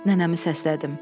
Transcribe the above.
Nənəmi səslədim.